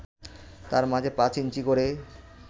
তার মাঝে পাঁচ ইঞ্চি করে